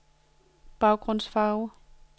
baggrundsfarve